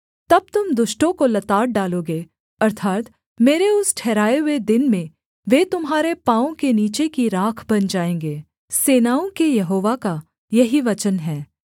तब तुम दुष्टों को लताड़ डालोगे अर्थात् मेरे उस ठहराए हुए दिन में वे तुम्हारे पाँवों के नीचे की राख बन जाएँगे सेनाओं के यहोवा का यही वचन है